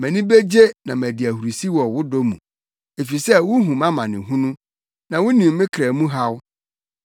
Mʼani begye na madi ahurusi wɔ wo dɔ mu, efisɛ wuhu mʼamanehunu, na wunim me kra mu haw.